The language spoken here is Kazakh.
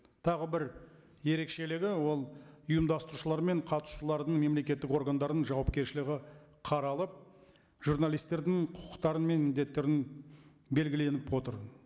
тағы бір ерекшелігі ол ұйымдастырушылар мен қатысушылардың мемлекеттік органдардың жауапкершілігі қаралып журналистердің құқықтары мен міндеттері белгіленіп отыр